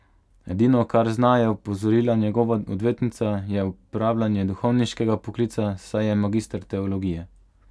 Edino, kar zna, je opozorila njegova odvetnica, je opravljanje duhovniškega poklica, saj je magister teologije.